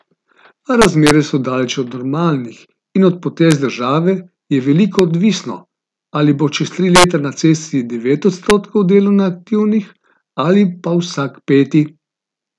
A razmere so daleč od normalnih in od potez države je veliko odvisno, ali bo čez tri leta na cesti devet odstotkov delovno aktivnih ali pa vsak peti.